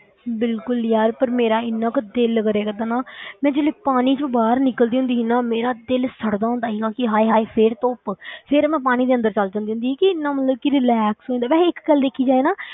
ਬਿਲਕੁਲ ਯਾਰ ਪਰ ਮੇਰਾ ਇੰਨਾ ਕੁ ਦਿਲ ਕਰਿਆ ਕਰਦਾ ਨਾ ਮੈਂ ਜਦੋਂ ਪਾਣੀ ਚੋਂ ਬਾਹਰ ਨਿਕਲਦੀ ਹੁੰਦੀ ਸੀ ਨਾ, ਮੇਰਾ ਦਿਲ ਸੜਦਾ ਹੁੰਦਾ ਸੀ ਕਿ ਹਾਏ ਹਾਏ ਫਿਰ ਧੁੱਪ ਫਿਰ ਮੈਂ ਪਾਣੀ ਦੇ ਅੰਦਰ ਚਲੇ ਜਾਂਦੀ ਹੁੰਦੀ ਸੀ ਕਿ ਇੰਨਾ ਮਤਲਬ ਕਿ relax ਹੋ ਜਾਂਦਾ, ਵੈਸੇ ਇੱਕ ਗੱਲ ਦੇਖੀ ਜਾਏ ਨਾ,